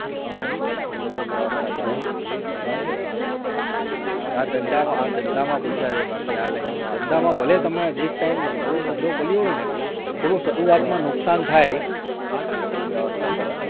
હ હ અચ્છા અચ્છા હા ધંધામાં હા ધંધામાં પૈસા છે બાકી આ line માં ધંધામાં ભલે એક time નવું ધંધો ખોલ્યો હોય ને, થોડું શરૂઆતમાં નુકસાન થાય હમ